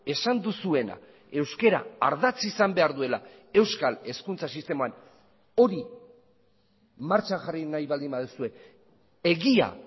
esan duzuena euskara ardatz izan behar duela euskal hezkuntza sisteman hori martxan jarri nahi baldin baduzue egia